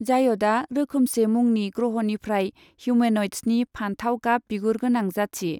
जायदआ रोखोमसे मुंनि ग्रहनिफ्राय हिउमेन'इड्सनि फानथाव गाब बिगुरगोनां जाथि।